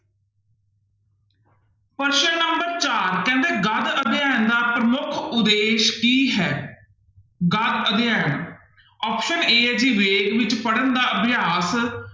ਪ੍ਰਸ਼ਨ number ਚਾਰ ਕਹਿੰਦੇ ਗਦ ਅਧਿਐਨ ਦਾ ਪ੍ਰਮੁੱਖ ਉਦੇਸ਼ ਕੀ ਹੈ ਗਦ ਅਧਿਐਨ option a ਹੈ ਜੀ ਵੇਗ ਵਿੱਚ ਪੜ੍ਹਨ ਦਾ ਅਭਿਆਸ